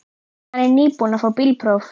Hún er nýbúin að fá bílpróf.